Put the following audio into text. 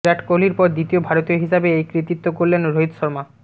বিরাট কোহলির পর দ্বিতীয় ভারতীয় হিসাবে এই কৃতিত্ব গড়লেন রোহিত শর্মা